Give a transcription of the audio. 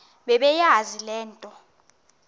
bebeyazi le nto